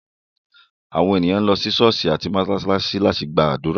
Àwọn ènìyàn lọ sí ṣọ̀ọ́sì àti mósálásí láti gbàdúrà.